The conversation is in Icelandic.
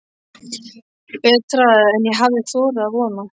Betra en ég hafði þorað að vona